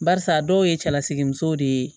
Barisa dɔw ye cɛlasigi musow de ye